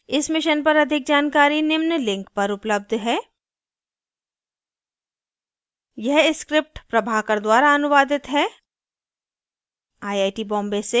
इस mission पर अधिक जानकारी निम्न लिंक पर उपलब्ध है